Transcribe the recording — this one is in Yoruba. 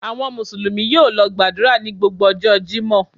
Àwọn Mùsùlùmí yóò lọ gbàdúrà ní gbogbo ọjọ́ Jímọ̀.